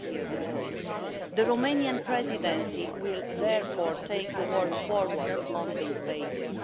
The Romanian Presidency will therefore take the work forward on this basis.